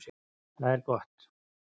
Það er gott